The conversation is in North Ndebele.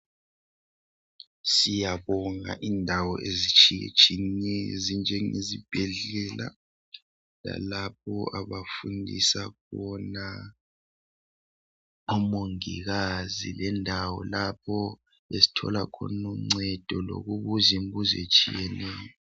Siyabonga indawo ezitshiye tshiyeneyo ezinjenge zibhedlela lalapho abafundisa khona omongikazi le ndawo lapho esithola khona ungcedo lokubuza imibuzo etshiyeneyo